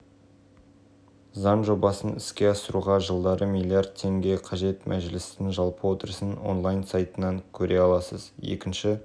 бокс туралы жаңалықтар мен сұхбаттар жариялайтын әлемдік порталы салмақ дәрежесіне қарамастан үздік боксшылар рейтингін жариялады деп